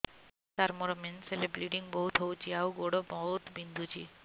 ସାର ମୋର ମେନ୍ସେସ ହେଲେ ବ୍ଲିଡ଼ିଙ୍ଗ ବହୁତ ହଉଚି ଆଉ ଗୋଡ ବହୁତ ବିନ୍ଧୁଚି